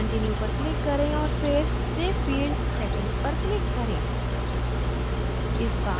save and continue पर click करें और फिर save field settings पर click करें